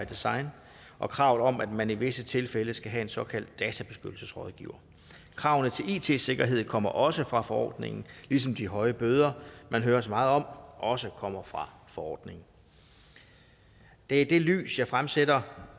design og kravet om at man i visse tilfælde skal have en såkaldt databeskyttelsesrådgiver kravene til it sikkerhed kommer også fra forordningen ligesom de høje bøder man hører så meget om også kommer fra forordningen det er i det lys jeg fremsætter